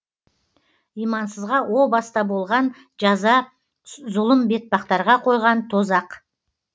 имансызға о баста болған жаза зұлым бетпақтарға қойған тозақ